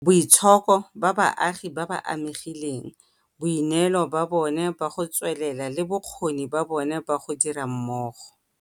Boitshoko ba baagi ba ba amegileng, boineelo ba bona ba go tswelela le bokgoni ba bona ba go dira mmogo